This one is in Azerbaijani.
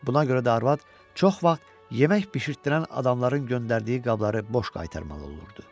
Buna görə də arvad çox vaxt yemək bişirtdirən adamların göndərdiyi qabları boş qaytarmalı olurdu.